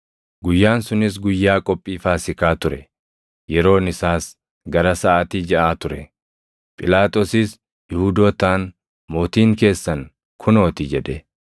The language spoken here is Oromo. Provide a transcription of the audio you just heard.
Guyyaan sunis guyyaa Qophii Faasiikaa ture; yeroon isaas gara saʼaatii jaʼaa ture. Phiilaaxoosis Yihuudootaan, “Mootiin keessan kunoo ti!” jedhe.